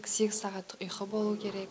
сегіз сағаттық ұйқы болуы керек